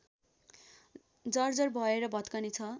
जर्जर भएर भत्कने छ